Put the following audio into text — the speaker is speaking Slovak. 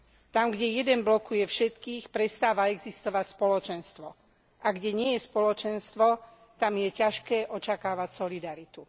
Tam, kde jeden blokuje všetkých, prestáva existovať spoločenstvo, a kde nie je spoločenstvo, tam je ťažké očakávať solidaritu.